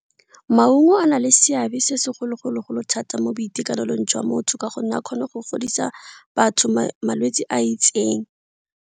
Maungo a na le seabe se segolo-golo-golo thata mo boitekanelong jwa motho ka gonne a kgone go godisa batho malwetsi a itseng.